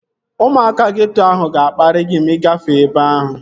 Ụmụaka geeto ahụ ga-akparị gị ma ị gafee ebe ahụ